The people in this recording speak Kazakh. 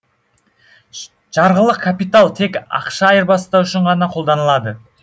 жарғылық капитал тек ақша айырбастау үшін ғана қолданылады